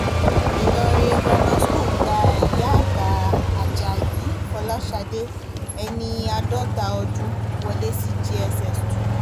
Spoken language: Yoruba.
ìlọrin grammar school gba ìyá àgbà ajayi fọláshadé ẹni àádọ́ta ọdún wọlé sí jss two